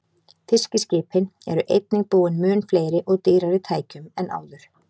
Fiskiskipin eru einnig búin mun fleiri og dýrari tækjum en áður.